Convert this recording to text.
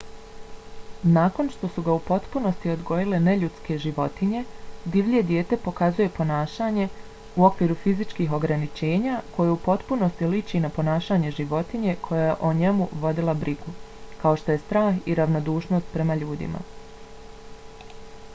nakon što su ga u potpunosti odgojile neljudske životinje divlje dijete pokazuje ponašanje u okviru fizičkih ograničenja koje u potpunosti liči na ponašanje životinje koja je o njemu vodila brigu kao što je strah i ravnodušnost prema ljudima